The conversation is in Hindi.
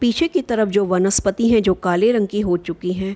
पीछे की तरफ जो वनस्पति हैं जो काले कलर की हो चुकी हैं।